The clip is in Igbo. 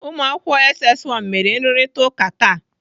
Ụmụakwụkwọ SS 1 mere nrụrịtaụka taa.